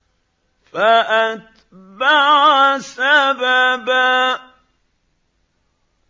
فَأَتْبَعَ سَبَبًا